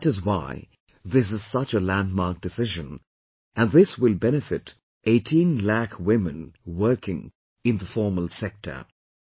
And that is why, this is such a landmark decision, and this will benefit 18 lakh women working in the formal sector